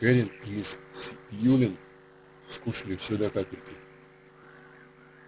кэррин и мисс сьюлин скушали все до капельки